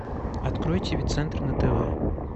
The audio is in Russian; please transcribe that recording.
открой тв центр на тв